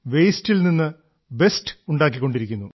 വേസ്റ്റിൽ നിന്ന് ബെസ്റ്റ് ഉണ്ടാക്കിക്കൊണ്ടിരിക്കുന്നു